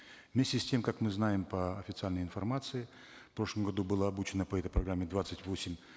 вместе с тем как мы знаем по официальной информации в прошлом году было обучено по этой программе двадцать восемь